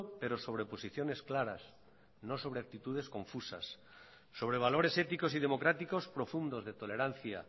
pero sobre posiciones claras no sobre actitudes confusas sobre valores éticos y democráticos profundos de tolerancia